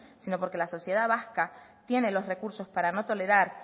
sino porque la sociedad vasca tiene los recursos para no tolerar